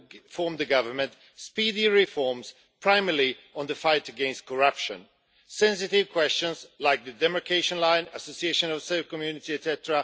forms the government speedy reforms, primarily on the fight against corruption. Sensitive questions like the demarcation line, the Association of Serbian Municipalities, etc.